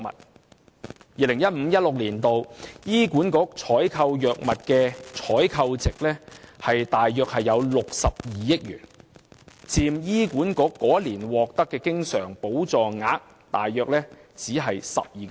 事實上 ，2015-2016 年度醫管局採購藥物的採購值約為62億元，僅佔醫管局該年獲得的經常補助額約 12%。